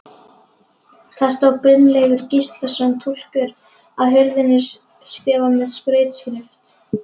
Það stóð Brynleifur Gíslason, túlkur, á hurðinni, skrifað með skrautskrift.